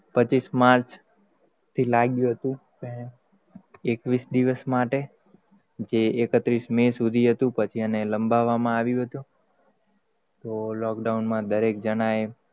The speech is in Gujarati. પચીશ માર્ચ થી લાગ્યું હતું, તે એકવિષ દિવષ માટે જે એકત્રીસ મે શુધી હતું, પછી એને લંબાવામાં આવ્યું હતું, તો lockdown દરેક જણાએ.